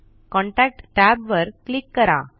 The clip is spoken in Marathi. कॉन्टॅक्ट tab वर क्लिक करा